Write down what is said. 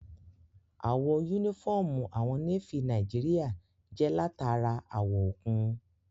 Àwọ̀ yúnífọ́ọ̀mù àwọn Nééfì Nàìjíríyà jẹ́ látara àwọ̀ òkun